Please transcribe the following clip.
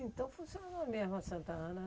Então funcionou mesmo a Santa Ana